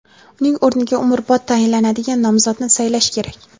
uning o‘rniga umrbod tayinlanadigan nomzodni saylash kerak.